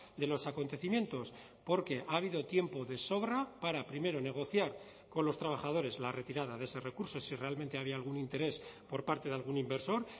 de los acontecimientos porque ha habido tiempo de sobra para primero negociar con los trabajadores la retirada de ese recurso si realmente había algún interés por parte de algún inversor